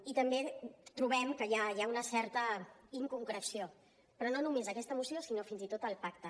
i també trobem que hi ha una certa inconcreció però no només en aquesta moció sinó fins i tot al pacte